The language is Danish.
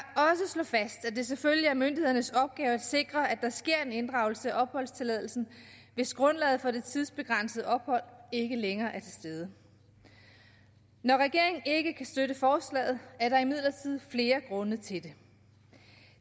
slå fast at det selvfølgelig er myndighedernes opgave at sikre at der sker en inddragelse af opholdstilladelsen hvis grundlaget for det tidsbegrænsede ophold ikke længere er til stede når regeringen ikke kan støtte forslaget er der imidlertid flere grunde til det